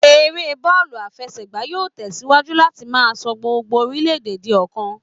Eré bọ́ọ̀lù àfẹsẹ̀gbá yóò tẹ̀ síwájú láti máa sọ gbogbo orile-ede di ọ̀kan